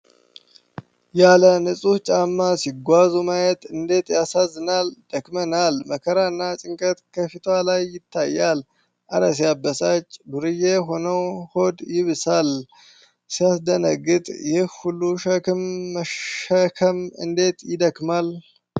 ያለ ንጹህ ጫማ ሲጓዙ ማየት እንዴት ያሳዝናል። ደክሞናል። መከራ እና ጭንቀት ከፊቷ ላይ ይታያል። እረ ሲያበሳጭ! ዱርዬ ሆነው! ሆድ ይብሳል። ሲያስደነግጥ! ይህን ሁሉ ሸክም መሸከም እንዴት ይደክማል።